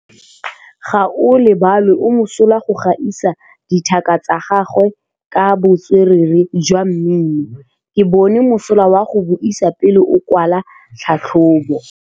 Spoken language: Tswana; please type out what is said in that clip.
Gaolebalwe o mosola go gaisa dithaka tsa gagwe ka botswerere jwa mmino. Ke bone mosola wa go buisa pele o kwala tlhatlhobô.